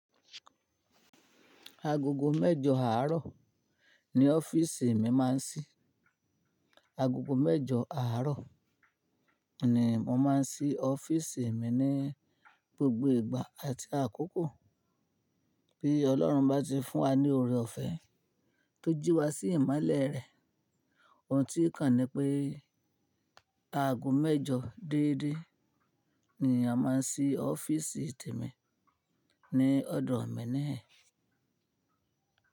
Agogo mẹ́jọ àárọ̀ ni ọ́fíìsì mi máa ń ṣí. Agogo mẹ́jọ àárọ̀ ni mo máa ń ṣí ọ́fíìsì mi ní gbogbo ìgbà àti àkókò. Bí Ọlọ́run bá ti fún wa ní oore ọ̀fẹ́ tó jí wa sí ìmọ́lẹ̀ rẹ̀. Ohun tí o kan ni pé aago mẹ́jọ déédéé ni a máa ṣí ọ́fíìsì temi ní ọ̀dọ̀ mi níhìn.